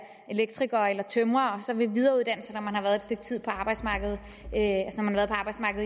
elektriker eller tømrer og så vil videreuddanne sig når man har været et stykke tid på arbejdsmarkedet